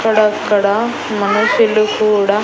అక్కడక్కడా మనుషులు కూడా.